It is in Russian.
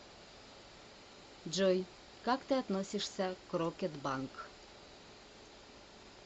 джой как ты относишься к рокетбанк